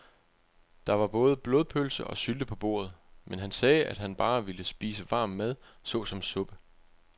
Der var både blodpølse og sylte på bordet, men han sagde, at han bare ville spise varm mad såsom suppe.